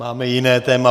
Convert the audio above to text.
Máme jiné téma.